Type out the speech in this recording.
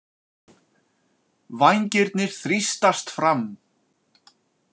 Vængirnir þrýstast fram.